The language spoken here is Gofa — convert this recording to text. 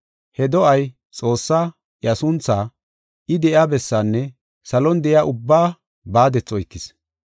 He do7ay Xoossaa, iya sunthaa, I de7iya bessaanne salon de7iya ubbaa baadethi oykis.